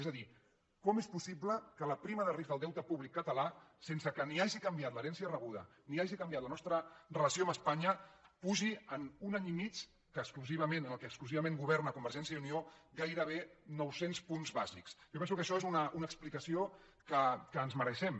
és a dir com és possible que la prima de risc del deute públic català sense que ni hagi canviat l’herència rebuda ni hagi canviat la nostra relació amb espanya pugi en un any i mig en què exclusivament governa convergència i unió gairebé nou cents punts bàsics jo penso que això és una explicació que ens mereixem